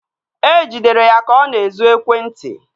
E jidere ya ka ọ na-ezu ekwentị